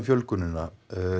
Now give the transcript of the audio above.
fjölgunina